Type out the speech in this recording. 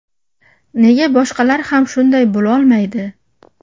Nega boshqalar ham shunday bo‘lolmaydi?!